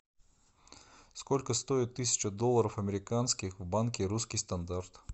сколько стоит тысяча долларов американских в банке русский стандарт